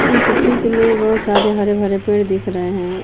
इस पिक में बहुत सारे हरे भरे पेड़ दिख रहे हैं।